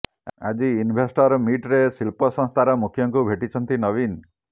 ଆଜି ଇନଭେଷ୍ଟର ମିଟରେ ଶିଳ୍ପ ସଂସ୍ଥାର ମୁଖ୍ୟଙ୍କୁ ଭେଟିଛନ୍ତି ନବୀନ